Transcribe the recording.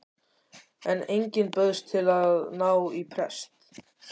En enginn bauðst til að ná í prest.